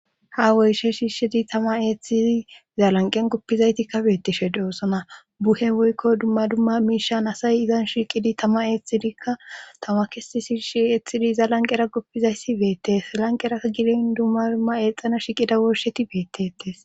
ha woyshe shiishidi tama eeththidi iza lanqen goppizayti kabeettishe doossona buhe woykko dumma dumma miishan asay izan shiiqidi tama eethtidikka tama kesi shiishi eethxidi iza lanqera guppizayssi beettes lanqera gidin dumma dumma eexxana shiqida woosheti beettetes